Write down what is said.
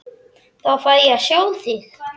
Þá fæ ég að sjá þig.